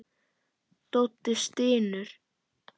Doddi stynur.